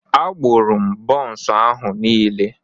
Agbụrụ m bonsu ahu niile.